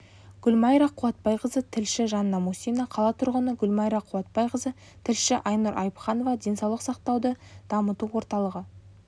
гүлмайра қуатбайқызы тілші жанна мусина қала тұрғыны гүлмайра қуатбайқызы тілші айнұр айыпханова денсаулық сақтауды дамыту орталығы